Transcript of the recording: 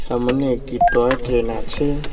সামনে একটি toy train আছে।